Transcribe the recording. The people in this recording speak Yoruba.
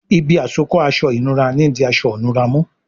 Ibi àsokọ́ aṣọ ìnura ní dì aṣọ ìnura mú